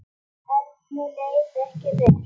Erni leið ekki vel.